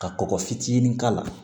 Ka kɔgɔ fitinin k'a la